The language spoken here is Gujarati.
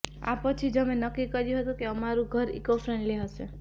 આ પછી જ અમે નક્કી કર્યું હતું કે અમારું ઘર ઇકો ફ્રેન્ડલી હશે